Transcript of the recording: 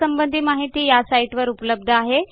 यासंबंधी माहिती या साईटवर उपलब्ध आहे